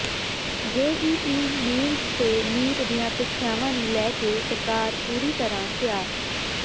JEE Mains ਤੇ NEET ਦੀਆਂ ਪ੍ਰੀਖਿਆਵਾਂ ਨੂੰ ਲੈ ਕੇ ਸਰਕਾਰ ਪੂਰੀ ਤਰ੍ਹਾਂ ਤਿਆਰ